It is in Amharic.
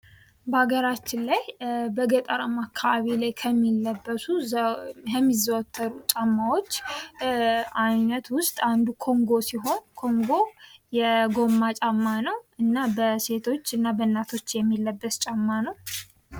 በአገራችን ላይ በገጠማ አካባቢዎች ላይ ከሚለበሱ ከሚዘወትሩ ጫማዎች አይነት ውስጥ አንዱ ኮንጎ ሲሆን ኮንጎ የጎማ ጫማ ነው ።እና በሴቶችና በእናቶች የሚለበት ጫማ ነው።